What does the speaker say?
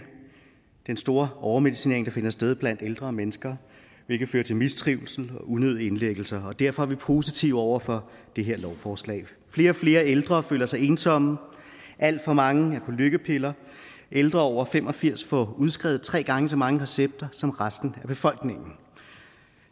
den store overmedicinering der finder sted blandt ældre mennesker hvilket fører til mistrivsel og unødige indlæggelser og derfor er vi positive over for det her lovforslag flere og flere ældre føler sig ensomme alt for mange er på lykkepiller ældre over fem og firs får udskrevet tre gange så mange recepter som resten af befolkningen